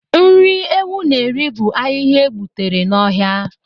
Nri ewu na-eri bụ ahịhịa e gbutere n'ọhịa